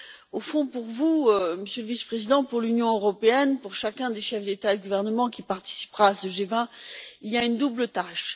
Au fond, pour vous, Monsieur le vice président, pour l'Union européenne et pour chacun des chefs d'État ou de gouvernement qui participera à ce G20, il y a une double tâche.